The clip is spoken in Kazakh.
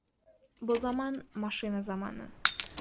бұ заман машина заманы